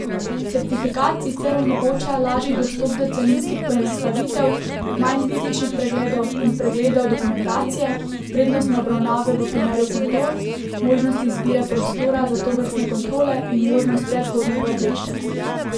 Certifikat sicer omogoča lažji dostop do carinskih poenostavitev, manj fizičnih pregledov in pregledov dokumentacije, prednostne obravnave v primeru kontrol, možnost izbire prostora za tovrstne kontrole in možnost predhodnega obveščanja.